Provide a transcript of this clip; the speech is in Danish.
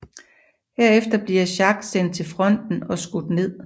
Herefter bliver Jacques sendt til fronten og skudt ned